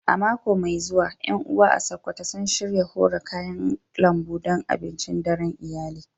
A mako mai zuwa, ƴan uwa a Sakkwato sun shirya hora kayan lambu don abincin daren iyali.